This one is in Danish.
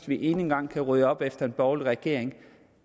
vi endnu en gang kan rydde op efter en borgerlig regering